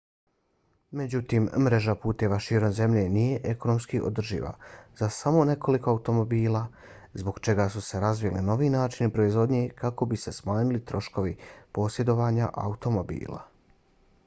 međutim mreža puteva širom zemlje nije ekonomski održiva za samo nekoliko automobila zbog čega su se razvili novi načini proizvodnje kako bi se smanjili troškovi posjedovanja automobila